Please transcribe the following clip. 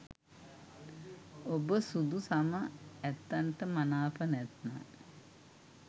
ඔබ සුදු සම ඇත්තන්ට මනාප නැත්නම්